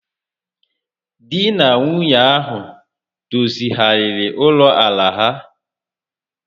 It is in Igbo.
Di na nwunye ahụ dozigharịrị ụlọ àlà ha